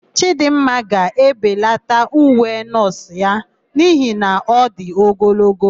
Chidịmma ga-ebelata uwe nọọsụ ya n'ihi na ọ dị ogologo.